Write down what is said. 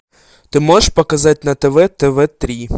ты можешь показать на тв тв три